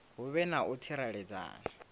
hu vhe na u tsireledzea